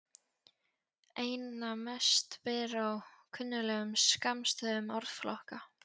Einna mest ber á kunnuglegum skammstöfunum orðflokka.